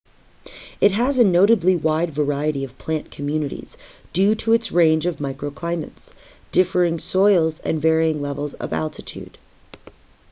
it has a notably wide variety of plant communities due to its range of microclimates differing soils and varying levels of altitude